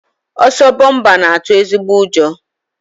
Ọsọ bọmpa na-atụ ezigbo ụjọ